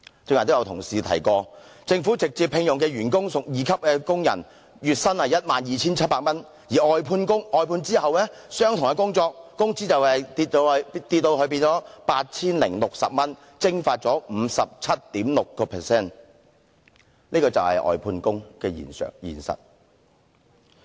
剛才亦有同事提到政府直接聘用的員工屬二級工人，月薪 12,700 元，而在外判後，相同工種的工資下跌至 8,060 元，蒸發了 57.6%， 這就是外判工的實況。